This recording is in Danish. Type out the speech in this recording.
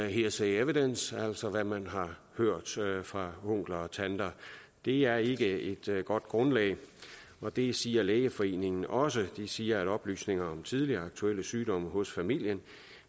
hearsay evidence altså hvad man har hørt fra onkler og tanter det er ikke et godt grundlag og det siger lægeforeningen også de siger at oplysninger om tidligere og aktuelle sygdomme hos familien